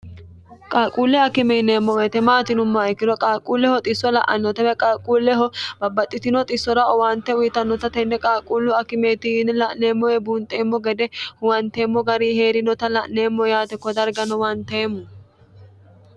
qalquulle akimee yieemmo weete maati yinumma ikkiro qaalquulleho xisso la'annotawe qaalquulleho babbaxxitino xissora owaante uyitannota tenne qaalquullu akimeetini la'neemmoe buunxeemmo gede huwanteemmo gari hee'rinota la'neemmo yaate kodargano uwanteemmo